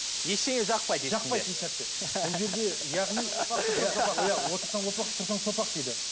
ештеңе жақпайды жақпайды еш нәрсе бұл жерде яғни иә отырсаң опақ тұрсаң сопақ дейді